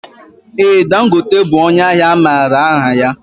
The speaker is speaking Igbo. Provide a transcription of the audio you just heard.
Ee Dangote bụ ónyé ahịa amaara aha ya.